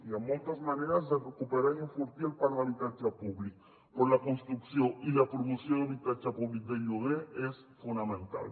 hi ha moltes maneres de recuperar i enfortir el parc d’habitatge públic però la construcció i la promoció d’habitatge públic de lloguer és fonamental